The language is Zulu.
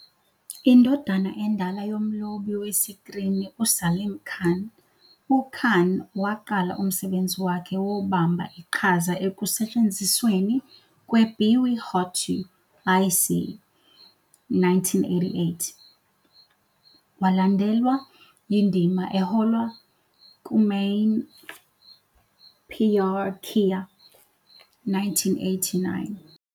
Indodana endala yomlobi wesikrini uSalim Khan, uKhan waqala umsebenzi wakhe wobamba iqhaza ekusetshenzisweni kweBiwi Ho To Aisi, 1988, kwalandelwa yindima ehola kuMaine Pyar Kiya, 1989.